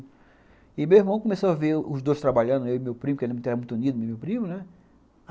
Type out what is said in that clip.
E meu irmão começou a ver os dois trabalhando, eu e meu primo, que a gente era muito unido, eu e meu primo, né?